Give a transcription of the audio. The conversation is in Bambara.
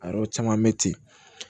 A yɔrɔ caman bɛ ten